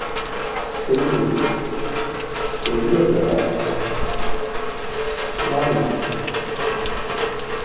Shri Surya Prakash Swami